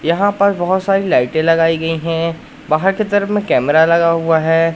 यहाँ पर बहोत सारी लाइटे लगाई गई है बहार के तरफ कैमरा लगा हुआ है।